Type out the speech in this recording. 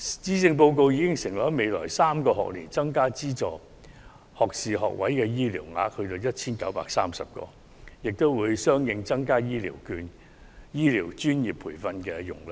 施政報告已承諾在未來3個學年增加資助學士學位醫療學額至 1,930 個，並相應增加醫療專業培訓容量。